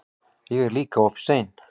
Ég er líka oft ein.